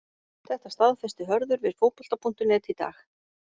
Þetta staðfesti Hörður við Fótbolta.net í dag.